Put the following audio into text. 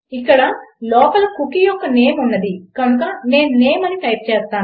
ఇక్కడ లోపల కుకీ యొక్క నేమ్ ఉన్నది కనుక నేను నేమ్ అని టైప్ చేస్తాను